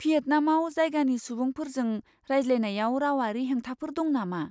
भियेटनामाव जायगानि सुबुंफोरजों रायज्लायनायाव रावारि हेंथाफोर दं नामा?